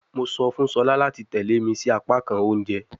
Mo sọ fun Shola lati tẹle mi si apakan ounjẹ